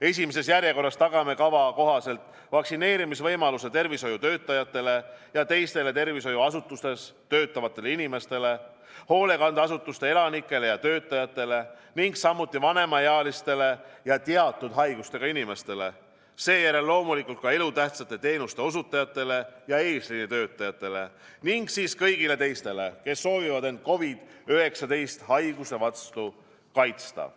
Esimeses järjekorras tagame kava kohaselt vaktsineerimisvõimaluse tervishoiutöötajatele ja teistele tervishoiuasutustes töötavatele inimestele, hoolekandeasutuste elanikele ja töötajatele ning samuti vanemaealistele ja teatud haigustega inimestele, seejärel loomulikult ka elutähtsate teenuste osutajatele ja eesliinitöötajatele ning siis kõigile teistele, kes soovivad end COVID-19 haiguse vastu kaitsta.